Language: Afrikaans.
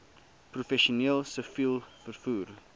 professioneel siviel vervoer